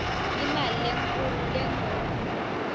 imali lenkhulu lengur